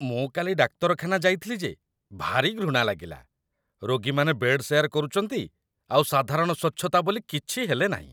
ମୁଁ କାଲି ଡାକ୍ତରଖାନା ଯାଇଥିଲି ଯେ, ଭାରି ଘୃଣା ଲାଗିଲା । ରୋଗୀମାନେ ବେଡ଼୍ ଶେୟାର କରୁଚନ୍ତି ଆଉ ସାଧାରଣ ସ୍ୱଚ୍ଛତା ବୋଲି କିଛି ହେଲେ ନାହିଁ ।